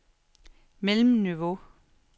mellemniveau